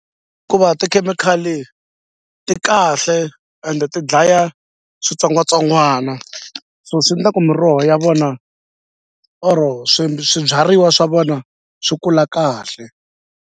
tikhemikhali ti kahle ende ti dlaya switsongwatsongwana so swi ndla ku miroho ya vona or swibyariwa swa vona swi kula kahle.